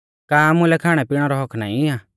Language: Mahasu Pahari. का आमुलै खाणैपिणै रौ हक्क्क नाईं आ